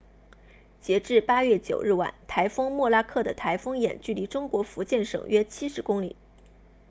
截至8月9日晚台风莫拉克的台风眼距离中国福建省约70公里